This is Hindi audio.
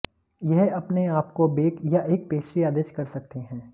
यह अपने आप को बेक या एक पेस्ट्री आदेश कर सकते हैं